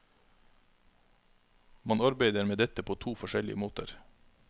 Man arbeider med dette på to forskjellige måter.